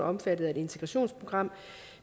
omfattet af et integrationsprogram